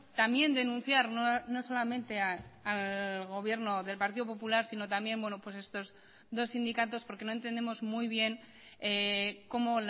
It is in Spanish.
también denunciar no solamente al gobierno del partido popular sino también estos dos sindicatos porque no entendemos muy bien cómo